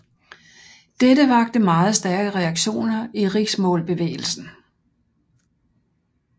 Dette vakte meget stærke reaktioner i riksmålsbevægelsen